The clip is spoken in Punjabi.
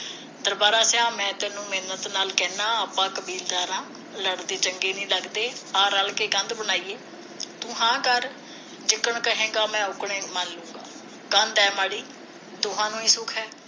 ਦਰਬਾਰਾ ਜਾ ਮੈ ਤੈਨੂੰ ਮਿੰਨਤ ਨਾਲ ਕਹਿੰਦਾ ਆਪਾ ਕਬੀਲਦਾਰ ਆ ਲੜਦੇ ਚੰਗੇ ਨਹੀ ਲੱਗਦੇ ਆ ਰਲ ਕੇ ਕੰਧ ਬਣਾਈਏ ਤੂੰ ਹਾ ਕਰ ਜਿੱਦਣ ਕਹੇਗਾ ਮੈਂ ਉੱਦਣ ਮਲਲੂੰਗਾ ਕੰਧ ਐ ਮਾੜੀ ਦੋਹਾਂ ਨੂੰ ਹੀ ਦੁੱਖ ਹੈ